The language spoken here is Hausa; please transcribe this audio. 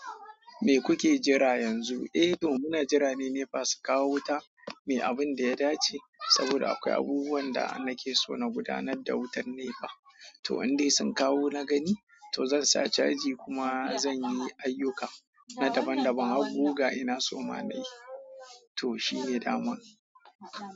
Me kuke jira yanzu? Eh to muna jira ne nepa su kawo wuta, mu abun da ya dace, saboda akwai abubuwan da nake so na gudanar da wutar nepa. To an dai sun kawo na gani, to zan sa caji kuma zan yi ayyuka na daban-daban, har guga ina so na yi. To shine daman.